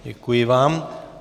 Děkuji vám.